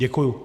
Děkuji.